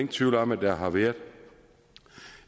tvivl om at der har været